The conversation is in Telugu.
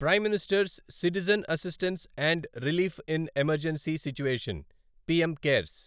prime minister's citizen assistance and relief in emergency situation PM cares